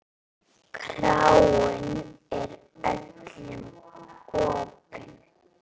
Kráin er öllum opin.